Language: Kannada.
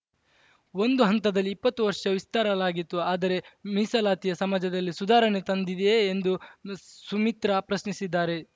ಒಂದು ಹಂತದಲ್ಲಿ ಇಪ್ಪತ್ತು ವರ್ಷ ವಿಸ್ತರಲಾಗಿತ್ತು ಆದರೆ ಮೀಸಲಾತಿಯ ಸಮಾಜದಲ್ಲಿ ಸುಧಾರಣೆ ತಂದಿದೆಯೇ ಎಂದು ಸುಮಿತ್ರಾ ಪ್ರಶ್ನಿಸಿದ್ದಾರೆ